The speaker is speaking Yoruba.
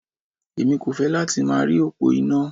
Èmi kò fẹ́ láti máa rí òpó iná.